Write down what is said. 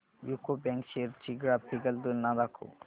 UCO bank shares ची graphical तुलना दाखव